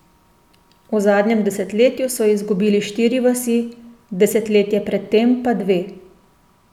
V zadnjem desetletju so izgubili štiri vasi, desetletje pred tem pa dve.